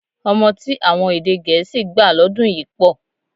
Ọmọ tí àwọn èdè gẹ̀ẹ́sì gbà lọ́dún yìí pọ̀